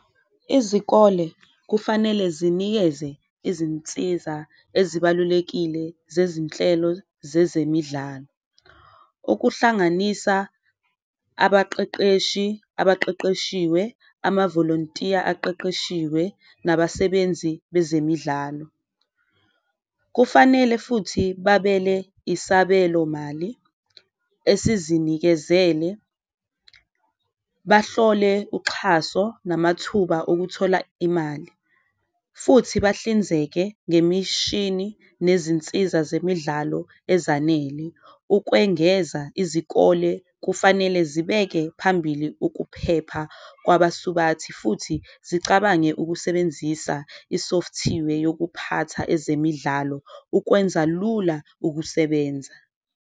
Izikole kufanele zinikeze izinsiza ezibalulekile zezinhlelo zezemidlalo okuhlanganisa abaqeqeshi abaqeqeshiwe, amavolontiya abaqeqeshiwe nabasebenzi bezemidlalo. Kufanele futhi babele isabelo mali esizinikezele, bahlole uxhaso namathuba okuthola imali futhi bahlinzeke ngemishini nezinsiza zemidlalo ezanele. Ukwengeza izikole kufanele zibeke phambili uphepha kwabasubathi futhi zicabange ukusebenzisa i-software yokuphatha ezemidlalo, ukwenza lula ukusebenza.